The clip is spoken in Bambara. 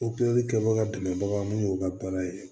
Opereli kɛbaga dɛmɛbagaw ye mun y'u ka baara ye